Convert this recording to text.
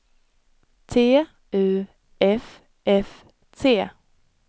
T U F F T